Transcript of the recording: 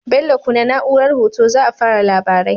Bello kunna na'urar hoto za a fara labarai